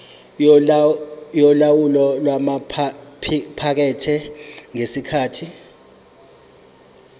yolawulo lwamaphikethi ngesikhathi